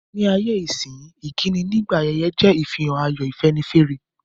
Ní ayé-isínyí, ìkíni nígbà ayẹyẹ je ìfihàn ayọ̀, ìfẹ́nifẹ́re.